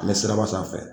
N bɛ siraba sanfɛ